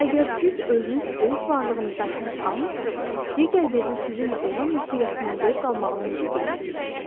Əgər siz özünüz öz varlığınızdan həzz almırsınızsa, digər birini sizinlə olan ünsiyyətindən zövq almağını necə gözləyə bilərsiniz?